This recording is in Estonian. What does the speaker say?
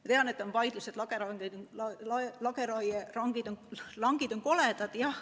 Ma tean, et on vaidlused, lageraielangid on koledad jah.